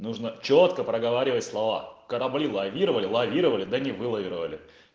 нужно чётко проговаривать слова корабли лавировали лавировали да не вылавировали